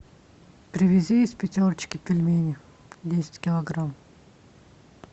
привези из пятерочки пельмени десять килограмм